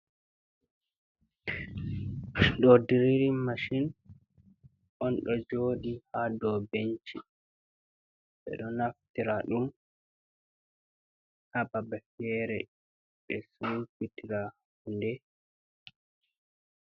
Do diriri mashin on do jodi ha do benci, be do naftira dum hababa fere be subitira hunde.